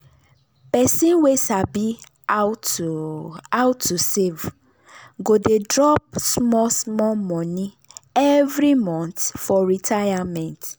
person wey sabi how to how to save go dey drop small small money every month for retirement.